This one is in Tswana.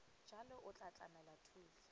jalo o tla tlamela thuso